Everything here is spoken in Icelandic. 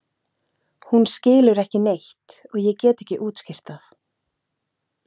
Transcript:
Hún skilur ekki neitt og ég get ekki útskýrt það.